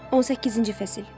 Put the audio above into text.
18-ci fəsil.